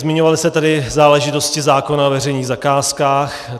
Zmiňovaly se tady záležitosti zákona o veřejných zakázkách.